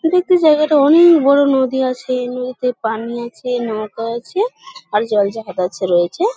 এটা একটা জায়গাটা অনেক বড়ো নদী আছে। নদীতে পানি আছে। নৌকা আছে। আর জল জাহাজ আছে রয়েছে।